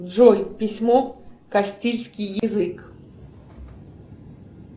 джой письмо кастильский язык